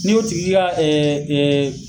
Ni y'o tigi ka